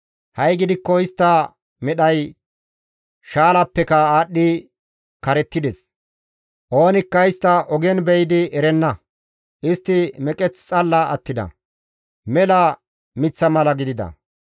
Ha7i gidikko istta medhay shaalapeka aadhdhi karettides; oonikka istta ogen be7idi erenna; istti meqeth xalla attida; mela miththa mala gidida.